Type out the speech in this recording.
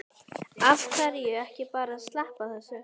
Af hverju ekki bara að sleppa þessu?